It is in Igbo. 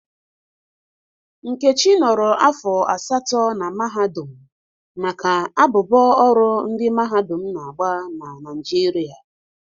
Nkechi nọrọ afọ asatọ na mahadum maka abụbọ ọrụ ndị mahadum na-agba na Naịjirịa.